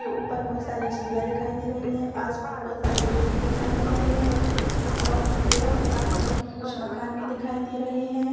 के ऊपर बहोत सारी सीढ़िया दिखाई दे रही है आस पास बहोत सारे पेड़ भी दिखाई दे रहे है और पेड़ो के पास में कुछ मकान भी दिखाई दे रहे है।